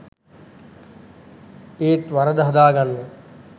ඒත් වරද හදාගන්න